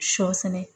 Sɔ sɛnɛ